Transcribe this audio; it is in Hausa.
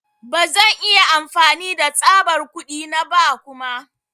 Ba zan iya amfani da tsabar kuɗi na ba kuma.